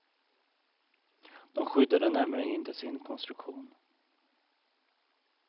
De skyddade nämligen inte sin konstruktion.